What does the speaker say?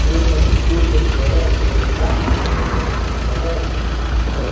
Fui no Clube Floresta em Osasco, no Floresta.